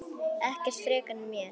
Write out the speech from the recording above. Ekkert frekar en mér.